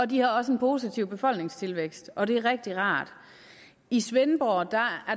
de har også en positiv befolkningstilvækst og det er rigtig rart i svendborg